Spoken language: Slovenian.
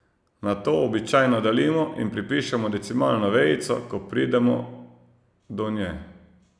Nato običajno delimo in pripišemo decimalno vejico, ko pridemo do nje.